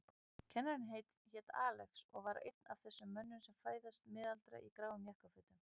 Kennarinn hét Axel og var einn af þessum mönnum sem fæðast miðaldra í gráum jakkafötum.